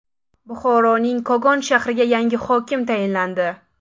Buxoroning Kogon shahriga yangi hokim tayinlandi.